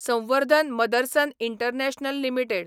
संवर्धन Motherson international limited